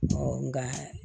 nka